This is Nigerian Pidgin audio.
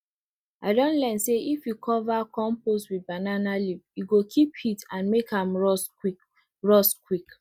i don learn say if you cover compost with banana leaf e go keep heat and make am rot quick rot quick